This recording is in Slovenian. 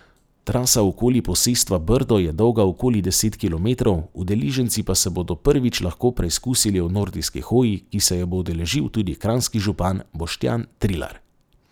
Trasa okoli posestva Brdo je dolga okoli deset kilometrov, udeleženci pa se bodo prvič lahko preizkusili v nordijski hoji, ki se je bo udeležil tudi kranjski župan Boštjan Trilar.